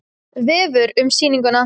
Vefur um sýninguna